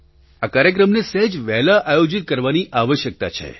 આ કાર્યક્રમને સહેજ વહેલા આયોજિત કરવાની આવશ્યકતા છે